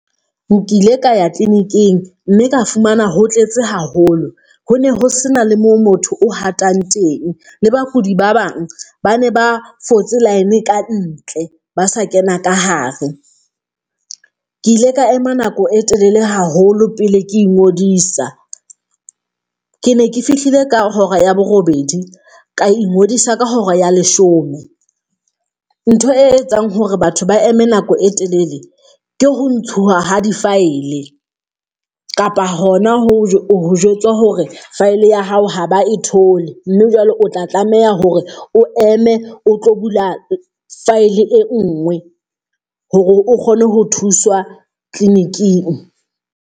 Nkile ka ya clinic-ing mme ka fumana ho tletse haholo, ho ne ho se na le moo motho o hatang teng. Le bakudi ba bang ba ne ba fotse line kantle, ba sa kena ka hare. Ke ile ka ema nako e telele haholo pele ke ingodisa. Ke ne ke fihlile ka hora ya borobedi ka ingodisa ka hora ya leshome. Ntho e etsang hore batho ba eme nako e telele ke ho ntshuwa ha di-file kapa hona ho jwetsa hore file ya hao ha ba e thole, mme jwale o tla tlameha hore o eme o tlo bula file e nngwe hore o kgone ho thuswa clinic-ing.